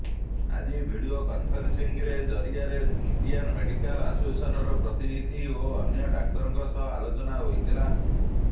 ଆଜି video conferencing ଜରିଆରେ Indian medical ଆସୋସିଏସନର ପ୍ରତିନିଧି ଓ ଅନ୍ୟ ଡାକ୍ତରଙ୍କ ସହ ଆଲୋଚନା ହୋଇଥିଲା